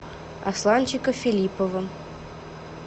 асланчика филиппова